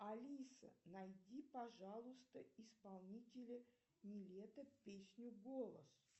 алиса найди пожалуйста исполнителя нилетто песня голос